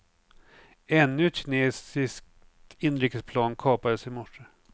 Ännu ett kinesiskt inrikesplan kapades i morse.